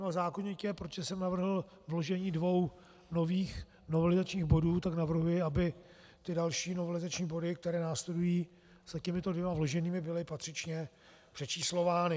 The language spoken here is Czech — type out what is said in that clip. No a zákonitě, protože jsem navrhl vložení dvou nových novelizačních bodů, tak navrhuji, aby ty další novelizační body, které následují za těmito dvěma vloženými, byly patřičně přečíslovány.